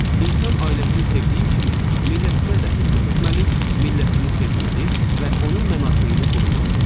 İnsan ailəsini sevdiyi kimi, millətinə də xidmət etməli, millətini sevməli və onun mənafeyini qorumalıdır.